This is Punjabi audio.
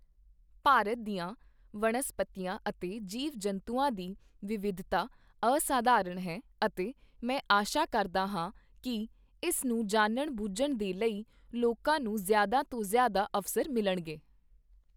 ਭਾਰਤ ਦੀਆ ਵਣਸਪਤੀਆਂ ਅਤੇ ਜੀਵ ਜੰਤੂਆਂ ਦੀ ਵਿਵਿਧਤਾ ਅਸਾਧਾਰਣ ਹੈ, ਅਤੇ ਮੈਂ ਆਸ਼ਾ ਕਰਦਾ ਹਾਂ ਕੀ ਇਸ ਨੂੰ ਜਾਣਨ ਬੂਝਣ ਦੇ ਲਈ ਲੋਕਾਂ ਨੂੰ ਜ਼ਿਆਦਾ ਤੋਂ ਜ਼ਿਆਦਾ ਅਵਸਰ ਮਿਲਣਗੇ।